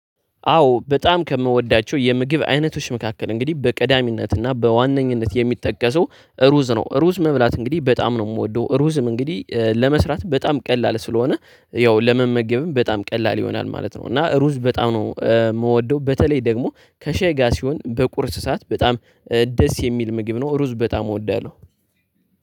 አዎ በጣም ከምወዳቸው የምግብ አይነቶች መካከል እንግዲህ በቅዳሚነትና በዋነኝነት የሚጠቀሰው ሩዝ ነው። ሩዝ መብላት እንግዲህ በጣም ነው የምወደው ሩዝም እንግዲህ ለመስራት በጣም ቀላል ስለሆነ ያው ለመመገብም በጣም ቀላል ይሆናል ማለት ነው። እና ሩዝ በጣም ነው የምወደው በተለይ ደግሞ ከሻይ ጋር ሲሆን በቁርስ ሰዓት በጣም ደስ የሚል ምግብ ነው። ሩዝ በጣም እወዳለሁ።